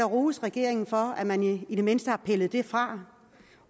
rose regeringen for at man i det mindste har pillet det fra